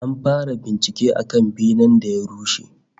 An fara bincike akan benen da ya rushe